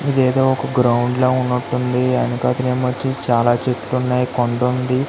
ఇదేదో ఒక గ్రౌండ్ లాగా ఉన్నటుఉంది ఎనకతల ఏమో చాల చెట్లు ఉన్నాయి కొండ ఉంది.